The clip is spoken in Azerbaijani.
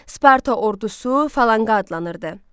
Sparta ordusu falaqqa adlanırdı.